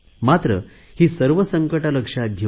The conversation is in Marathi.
मात्र ही सर्व संकटे लक्षात घेऊ